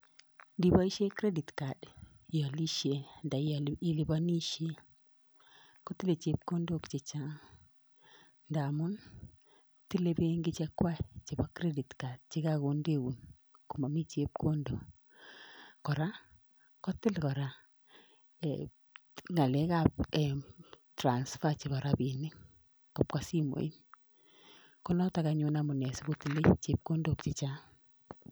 Indiboishien credit card, iolisien anan yon iole iliponishien kotile chepkondok chechang. Ngamun i,tile benkii chechwak chebo credit card chekakondeun komomi chepkondook. Kora kotil kora ngalekab transpaa chebo rabinik kobwa simoit, konotok amune sikotile chepkondook chechang.